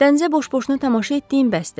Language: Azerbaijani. Dənizə boş-boşuna tamaşa etdiyin bəsdir.